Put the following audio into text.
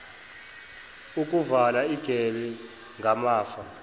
ukuvala igebe ngamafa